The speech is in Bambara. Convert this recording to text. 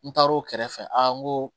N taar'o kɛrɛfɛ a n ko